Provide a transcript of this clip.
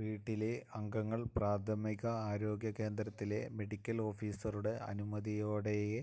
വീട്ടിലെ അംഗങ്ങള് പ്രാഥമിക ആരോഗ്യകേന്ദ്രത്തിലെ മെഡിക്കല് ഓഫിസറുടെ അനുമതിയോടെയേ